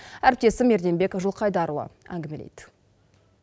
әріптесім ерденбек жылқайдарұлы әңгімелейді